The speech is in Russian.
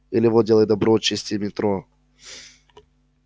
или вот делай добро чисти метро